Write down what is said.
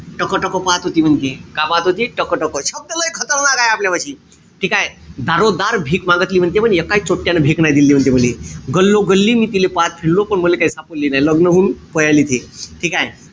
टकटक पाहत होती म्हणते. का पाहत होती? टकटक. शब्द लै खतरनाक आहे आपल्यापाशी. ठीकेय? दारोदार भीक मांगीतली म्हणते एकाय चोट्यांन भीक नाही दिली म्हणते मले. गल्लोगल्ली मी तिले पाहत फिरलो. पण मले काई सापडली नाई. लग्न होऊन पयाली ते.